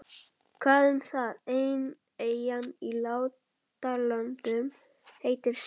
Hvað um það, ein eyjan í Látralöndum heitir Sel.